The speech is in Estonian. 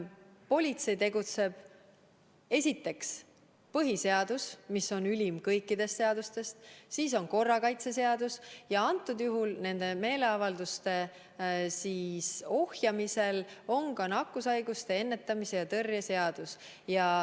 Politsei tegutseb järgmiste seaduste alusel: esiteks on põhiseadus, mis on ülim kõikidest seadustest, siis on korrakaitseseadus ja antud juhul nende meeleavalduste ohjamisel on ka nakkushaiguste ennetamise ja tõrje seadus.